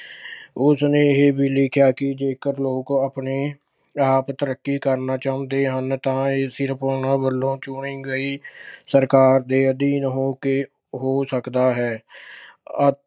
ਉਸ ਨੇ ਇਹ ਵੀ ਲਿਖਿਆ ਕਿ ਜੇਕਰ ਲੋਕ ਆਪਣੇ ਆਪ ਤਰੱਕੀ ਕਰਨਾ ਚਾਹੁੰਦੇ ਹਨ ਤਾਂ ਇਹ ਸਿਰਫ ਉਨ੍ਹਾਂ ਵੱਲੋਂ ਚੁਣੀ ਗਈ ਸਰਕਾਰ ਦੇ ਅਧੀਨ ਹੋ ਕੇ ਹੋ ਸਕਦਾ ਹੈ। ਅ ਅਹ